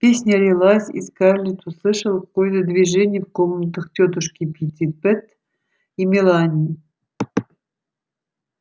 песня лилась и скарлетт услышала какое-то движение в комнатах тётушки питтипэт и мелани